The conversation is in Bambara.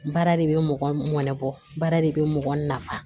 Baara de bɛ mɔgɔ mɔnɛbɔ baara de bɛ mɔgɔ nafa